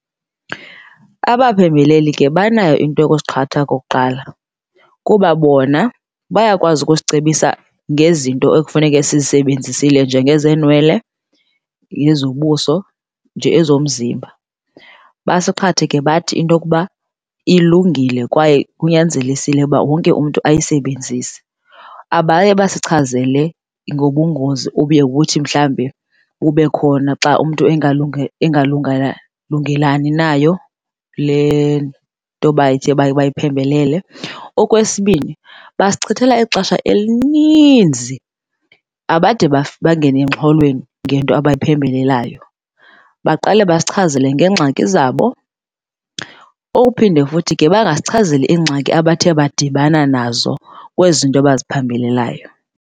Abaphembeleli ke banayo into yokusiqhatha okokuqala, kuba bona bayakwazi ukusicebisa ngezinto ekufuneke sizisebenzisile nje ngezenwele nezobuso nje ezomzimba. Basiqhathe ke bathi into okuba ilungile kwaye kunyanzelisile uba wonke umntu ayisebenzise abaye basichazele ngobungozi obuye buthi mhlawumbi bube khona xa umntu engalungelani nayo le nto bathe bayiphembelele. Okwesibini, basichithela ixesha elininzi abade bangene emxholweni ngento abayiphembelelayo, baqale basichazele ngeengxaki zabo ophinde futhi bangasichazeli iingxaki abathe badibana nazo kwezi zinto baziphembelelayo.